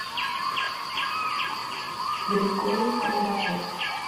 григорий кондаков